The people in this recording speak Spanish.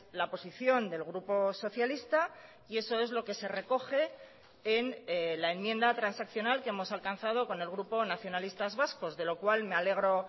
la posición del grupo socialista y eso es lo que se recoge en la enmienda transaccional que hemos alcanzado con el grupo nacionalistas vascos de lo cual me alegro